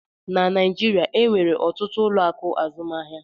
Na Naijiria, enwere ọtụtụ ụlọ akụ azụmaahịa